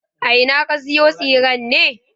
A ina ka sayo tsiren ne?